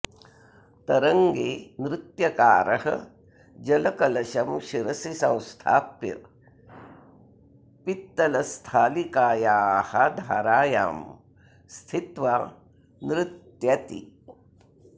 तरङ्गे नृत्यकारः जलकलशं शिरसि संस्थाप्य पित्तलस्थालिकायाः धारायां स्थित्वा नृत्यति